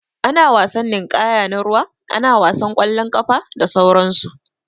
Ana wasan ninƙaya na ruwa, ana wasan ƙwalon ƙafa, da sauran su.